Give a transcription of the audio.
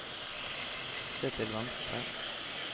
se til venstre